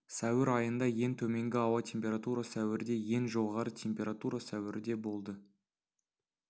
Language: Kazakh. сәуір айында ең төменгі ауа температура сәуірде ең жоғары температура сәуірде болды